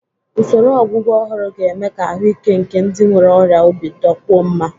Usoro ọgwụgwọ ọhụrụ ga-eme ka ahụike nke ndị nwere ọrịa obi dịkwuo mma.